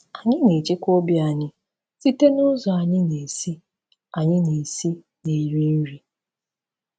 Anyị na-echekwa obi anyị site n’ụzọ anyị na-esi anyị na-esi na-eri nri.